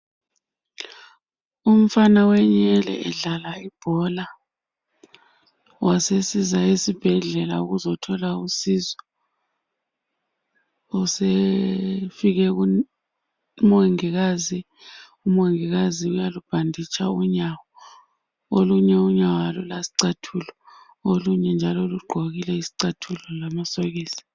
Umfana wenyele edlala ibhola wasesiza esibhedlela ukuzithola usizo usefike kumongikazi, umongikazi uyalubhanditsha unyawo olunye unyawo alulasicathulo olunye njalo lugqokile izicathulo lamasokisi.